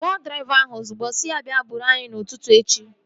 Kpọọ draiva ahụ ozigbo! Sị ya bịa buuru anyị n'ụtụtụ echi